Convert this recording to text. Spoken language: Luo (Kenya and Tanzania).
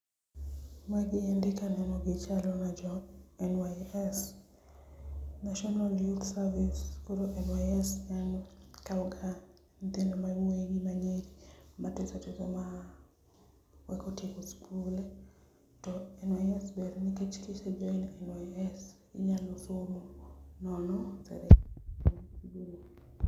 magi endi kaneno gi chalo na jo NYS, National Youth Service, koro NYS en okawga nyithindo ma yawuoy gi manyiri matiso tiso ma koka otieko skul to NYS ber nikech ka ise join NYS to inyalo somo nono